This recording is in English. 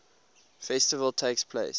festival takes place